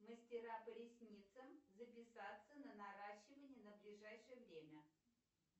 мастера по ресницам записаться на наращивание на ближайшее время